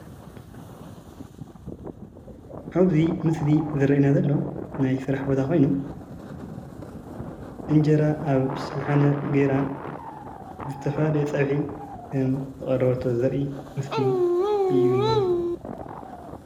ኣብዙይ ምስሊ ዝረአየና ዘሎ ናይ ስራሕ ቦታ ኮይኑ እንጀራ ኣብ ሸሓነ ጌራ ዝተፈላለዩ ፀብሒን ዝቐረበቶ ዘርኢ ምስሊ እዩ ዝንሄ፡፡